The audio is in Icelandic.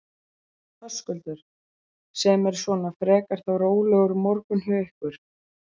Höskuldur: Sem er svona frekar þá rólegur morgunn hjá ykkur?